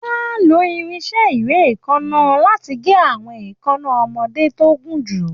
Wọ́n á lo irinṣẹ́ ìréèkánná láti gé àwọn èékánná ọmọdé tó gùn jù